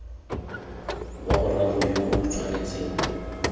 wa boraro yo o tshwanetseng